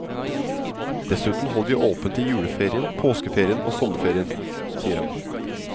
Dessuten holder vi åpent i juleferien, påskeferien og sommerferien, sier han.